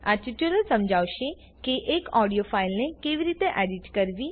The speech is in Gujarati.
આ ટ્યુટોરીયલ સમજાવશે કે એક ઓડિયો ફાઈલને કેવી રીતે એડીટ કરવી